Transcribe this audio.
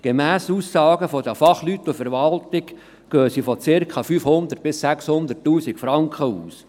Gemäss Aussagen der Fachleute und der Verwaltung geht man von circa 500 000–600 000 Franken aus.